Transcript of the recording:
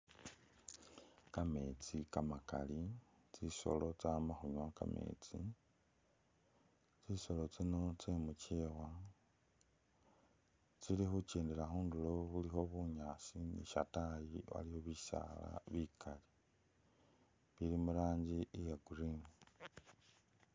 Kametsi kamakali, tsisolo tsama khunywa kametsi, tsisolo tsino tse mukyewa tsili khukyendela khundulo ukhulikho bunyaasi ne shataayi waliyo bisaala bikaali bili muranji iya green.